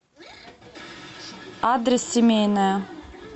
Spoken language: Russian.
адрес семейная